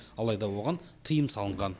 алайда оған тыйым салынған